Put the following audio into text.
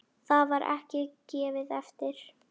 Þar var ekkert gefið eftir.